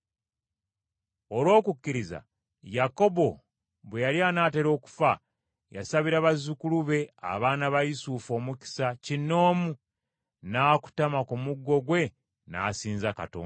Olw’okukkiriza Yakobo bwe yali anaatera okufa, yasabira bazzukulu be abaana ba Yusufu omukisa kinoomu, n’akutama ku muggo gwe n’asinza Katonda.